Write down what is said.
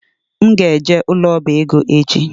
M ga-eje ụlọ ọbaego echi